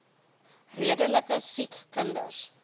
redelike siek kinders